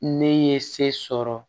Ne ye se sɔrɔ